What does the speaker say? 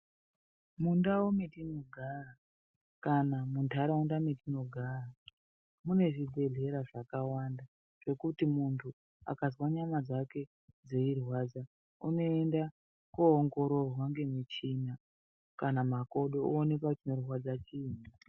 Mundau metinogara kana mundaraunda metinogara munezvibhehlera zvakawanda zvekuti mundu akazwa nyama dzake dzeirwadza unoenda koongororwa ngemuchina kana makodo oonekwa kuti chinorwadza chiini